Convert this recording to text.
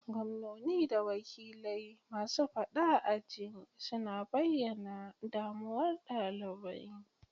Gwamnoni da wakilai masu fada aji suna bayyana damuwar dalibai.